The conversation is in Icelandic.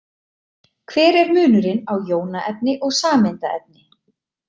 Hver er munurinn á jónaefni og sameindaefni?